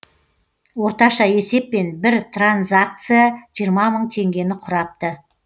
орташа есеппен бір транзакция жиырма мың теңгені құрапты